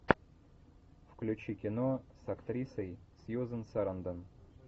включи кино с актрисой сьюзан сарандон